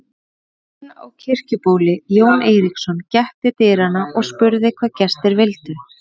Bóndinn á Kirkjubóli, Jón Eiríksson, gekk til dyranna og spurði hvað gestir vildu.